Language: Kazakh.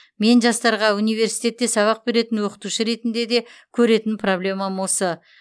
мен жастарға университетте сабақ беретін оқытушы ретінде де көретін проблемам осы